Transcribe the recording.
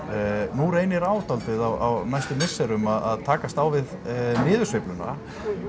nú reynir á dálítið á næstu misserum að takast á við niðursveifluna